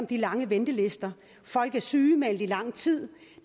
de lange ventelister folk er sygemeldt i lang tid